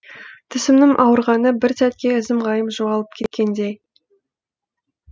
тісімнің ауырғаны бір сәтке ізім ғайым жоғалып кеткендей